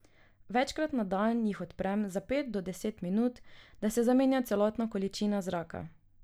Večkrat na dan jih odpremo za pet do deset minut, da se zamenja celotna količina zraka.